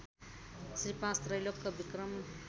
Shri ५ Trailokyavikram